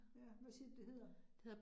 Ja, hvad siger du, det hedder?